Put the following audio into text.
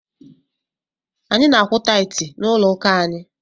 Anyị na-akwụ taịtị n'ụlọ ụka anyị.